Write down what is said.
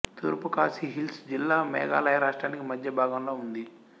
తూర్పు ఖాసీ హిల్స్ జిల్లా మేఘాలయ రాష్ట్రానికి మద్యభాగంలో ఉంది